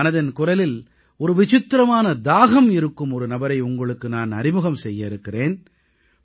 இன்று மனதின் குரலில் ஒரு விசித்திரமான தாகம் இருக்கும் ஒரு நபரை உங்களுக்கு நான் அறிமுகம் செய்ய இருக்கிறேன்